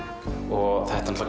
og þetta